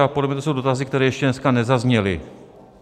A podle mne to jsou dotazy, které ještě dneska nezazněly.